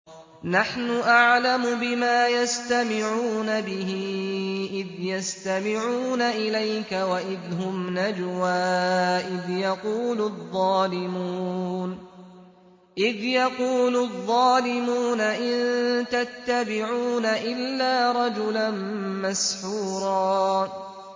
نَّحْنُ أَعْلَمُ بِمَا يَسْتَمِعُونَ بِهِ إِذْ يَسْتَمِعُونَ إِلَيْكَ وَإِذْ هُمْ نَجْوَىٰ إِذْ يَقُولُ الظَّالِمُونَ إِن تَتَّبِعُونَ إِلَّا رَجُلًا مَّسْحُورًا